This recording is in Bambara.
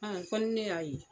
Haa fɔ ni ne y'a ye.